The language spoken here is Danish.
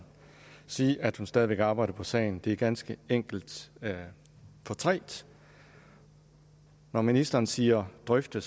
sige at hun stadig væk arbejder på sagen det er ganske enkelt for trægt når ministeren siger drøfte